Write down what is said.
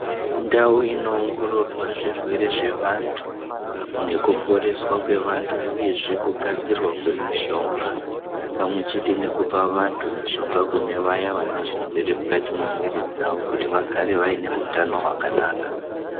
Ndau inoongororwa zvirwere zvevantu nekuporeswa kwevantu uyezve kugadzirwa kwemishonga pamwechete nekupa vantu mishonga kune vaya vanezvirwere mukati mwemwiri dzavo kuti vagare vaine hutano hwakanaka.